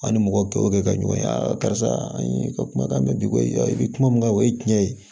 An ni mɔgɔ gawo kɛ ka ɲɔgɔn ye a karisa an ye kumakan mɛn ko i bi kuma mun kan o ye tiɲɛ ye